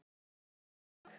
Kemur sigurleikurinn í dag?